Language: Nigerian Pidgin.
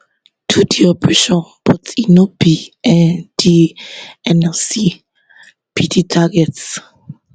do di operation but no be um di nlc be di target